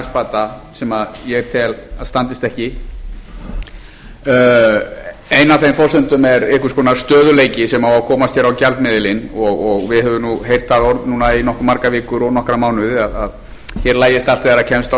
þessum efnahagsbata sem ég tel að standist ekki ein af þeim forsendum er einhvers konar stöðugleiki sem á að komast hér á gjaldmiðilinn og við höfum heyrt það orð núna í nokkuð margar vikur og nokkra mánuði að hér lagist allt þegar kemst á